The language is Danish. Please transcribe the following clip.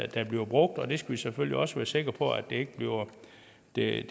der bliver brugt og vi skal selvfølgelig også være sikre på at det